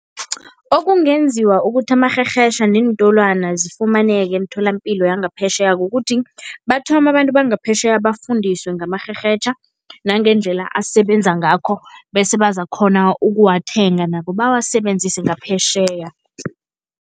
Okungenziwa ukuthi amarherhetjha neentolwana zifumaneke emitholapilo yangaphetjheya kukuthi, bathome abantu bangaphetjheya bafundiswe ngamarhrerhetjha nangendlela asebenza ngakho bese bazakukghona ukuwathenga nabo bawasebenzise ngaphetjheya.